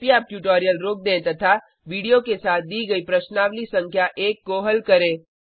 कृपया अब ट्यूटोरियल रोक दें तथा वीडियो के साथ दी गई प्रश्नावली संख्या एक को हल करें